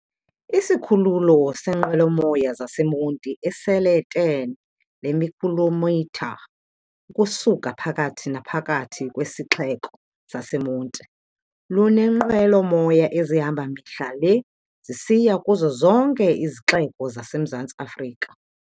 Isikhululo seenqwelo-moya zaseMonti, esele-10 lemikhilomitha ukusuka phakathi naphakathi kwisixeko saseMonti, luneenqwelo-moya ezihamba mihla le zisiya kuzo zonke izixeko zaseMzantsi Afrika.